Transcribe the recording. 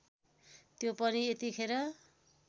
त्यो पनि यतिखेर